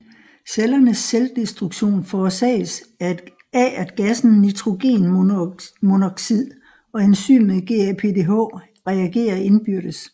Cellernes selvdestruktion forsages af at gassen nitrogenmonoxid og enzymet GAPDH reagerer indbyrdes